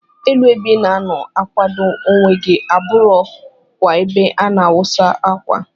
Elu ebe ina anọ akwado onwe gi aburọ kwa ebe ana awusa akwa.